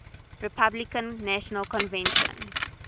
republican national convention